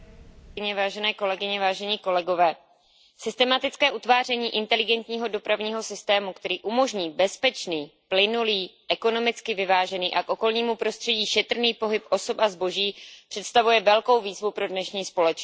Vážené kolegyně, vážení kolegové, systematické utváření inteligentního dopravního systému, který umožní bezpečný, plynulý, ekonomicky vyvážený a k okolnímu prostředí šetrný pohyb osob a zboží představuje velkou výzvu pro dnešní společnost.